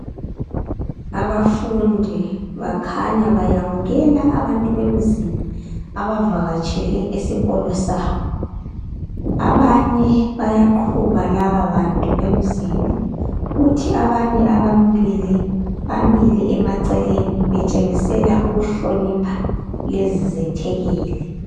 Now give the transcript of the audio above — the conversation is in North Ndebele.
Abafundi bakhanya bayamkela abantu bemzini abavakatshele esikolo sabo. Abanye bayaqhuba laba bantu bemzini kuthi abanye ababili bamile emaceleni betshengisela ukuhlonipha lezi zethekeli.